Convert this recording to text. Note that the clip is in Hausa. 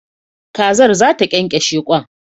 Kazar zata kyankyashe kwan